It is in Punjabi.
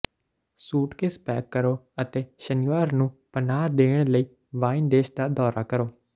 ਸੂਟਕੇਸ ਨੂੰ ਪੈਕ ਕਰੋ ਅਤੇ ਸ਼ਨੀਵਾਰ ਨੂੰ ਪਨਾਹ ਦੇਣ ਲਈ ਵਾਈਨ ਦੇਸ਼ ਦਾ ਦੌਰਾ ਕਰੋ